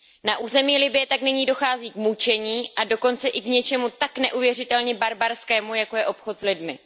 Na území Libye tak nyní dochází k mučení a dokonce i k něčemu tak neuvěřitelně barbarskému, jako je obchod s lidmi.